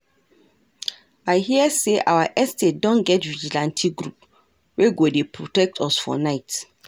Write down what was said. I hear say our estate don get vigilante group wey go dey protect us for night